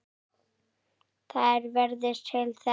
Það er veðrið til þess.